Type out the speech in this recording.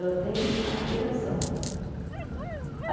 Ela tem aspiração.